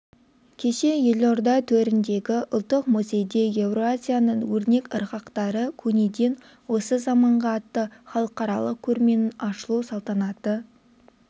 кеше елорда төріндегі ұлттық музейде еуразияның өрнек ырғақтары көнеден осы заманға атты халықаралық көрменің ашылу салтанаты